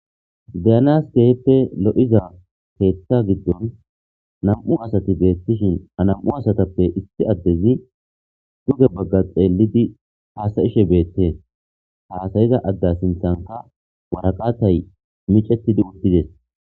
Deyanas keheppe lo'iza teeththa giddon nam'u asati beettishin a nam'u asatappe issi addezi duge bagga xeellidi haasayishe beette haasayiza adde sinthanta waraqatay micetidi uttides.